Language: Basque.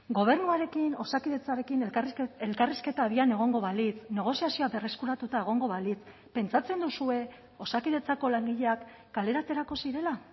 gobernuarekin osakidetzarekin elkarrizketa abian egongo balitz negoziazioa berreskuratuta egongo balitz pentsatzen duzue osakidetzako langileak kalera aterako zirela